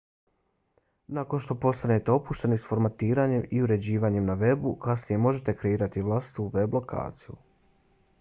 nakon što postanete opušteni s formatiranjem i uređivanjem na webu kasnije možete kreirati i vlastitu web lokaciju